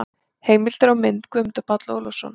Heimildir og mynd: Guðmundur Páll Ólafsson.